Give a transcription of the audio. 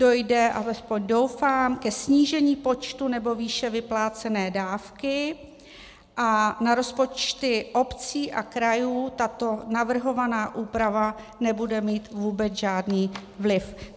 Dojde, alespoň doufám, ke snížení počtu nebo výše vyplácené dávky a na rozpočty obcí a krajů tato navrhovaná úprava nebude mít vůbec žádný vliv.